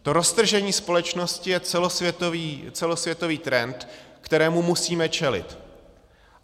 To roztržení společnosti je celosvětový trend, kterému musíme čelit.